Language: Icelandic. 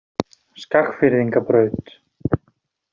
Skagfirðingabraut